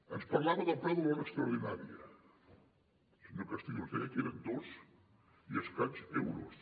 ens parlava del preu de l’hora extraordinària senyor castillo i ens deia que eren dos i escaig euros